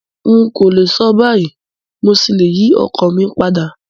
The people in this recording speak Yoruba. N kòlè so báyìí, mo ṣí le yi ọkan mi padà